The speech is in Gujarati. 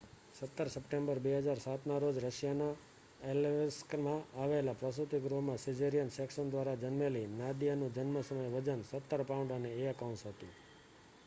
17 સપ્ટેમ્બર 2007ના રોજ રશિયાના ઍલૈસ્કમાં આવેલા પ્રસૂતિ ગૃહમાં સિઝેરિયન સેક્શન દ્વારા જન્મેલી નાદિયાનું જન્મ સમયે વજન 17 પાઉન્ડ અને 1 ઔંસ હતું